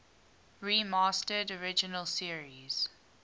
remastered original series